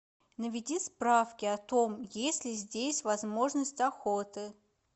наведи справки о том есть ли здесь возможность охоты